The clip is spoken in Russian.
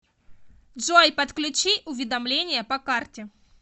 джой подключи уведомления по карте